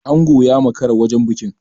Ango ya makara wajen bikin.